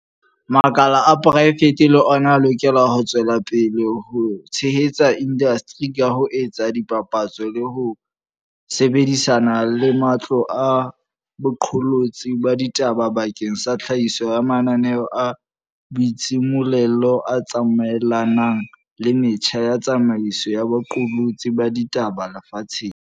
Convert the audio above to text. Makala a poraefete le ona a lokela ho tswela pele ho tshehetsa indasteri ka ho etsa dipapatso le ho sebedi sana le matlo a boqolotsi ba ditaba bakeng sa tlhahiso ya mananeo a boitshimollelo a tsamaelanang le metjha ya tsamaiso ya boqolotsi ba ditaba lefatsheng.